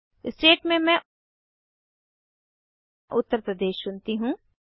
state में मैं उत्तर प्रदेश चुनती हूँ